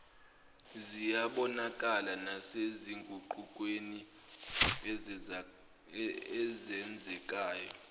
ziyabonakala nasezinguqukweni ezenzekayo